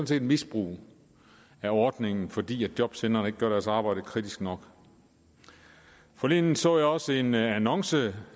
set misbrug af ordningen fordi jobcentrene ikke gør deres arbejde kritisk nok forleden så jeg også en annonce